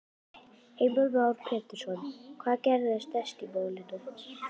Heimir Már Pétursson: Hvað gerist þá næst í málinu?